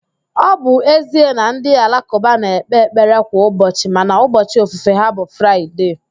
Ọ bụ ezie na ndị alakụba na-ekpe ekpere kwa ụbọchị mana ubọchị ofufe ha bụ Fraịde